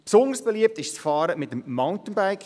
Besonders beliebt ist das Fahren mit dem Mountainbike;